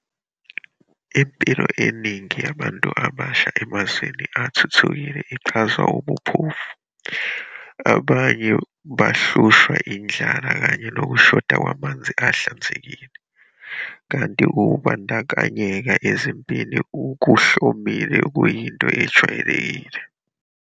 Impilo eningi yabantu abasha emazweni asathuthuka ichazwa ubuphofu, abanye bahlushwa indlala kanye nokushoda kwamanzi ahlanzekile, kanti ukubandakanyeka ezimpini kuhlomile kuyinto ejwayelekile.